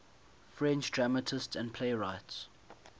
french dramatists and playwrights